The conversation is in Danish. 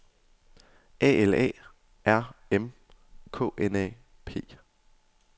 A L A R M K N A P